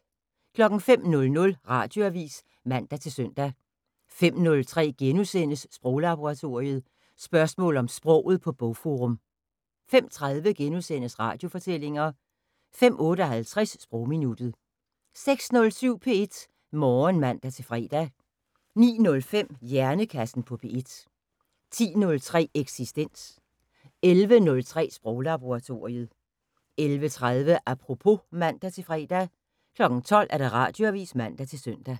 05:00: Radioavis (man-søn) 05:03: Sproglaboratoriet: Spørgsmål om sproget på Bogforum * 05:30: Radiofortællinger * 05:58: Sprogminuttet 06:07: P1 Morgen (man-fre) 09:05: Hjernekassen på P1 10:03: Eksistens 11:03: Sproglaboratoriet 11:30: Apropos (man-fre) 12:00: Radioavis (man-søn)